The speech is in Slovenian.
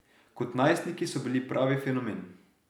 Kot najstniki so bili pravi fenomen.